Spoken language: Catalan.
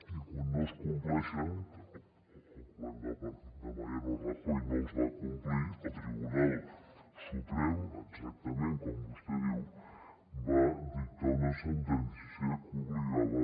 i quan no es compleixen que el govern de mariano rajoy no els va complir el tribunal suprem exactament com vostè diu va dictar una sentència que obligava